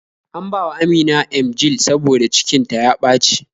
An bawa amina Emgyl saboda cikin ta ya ɓaci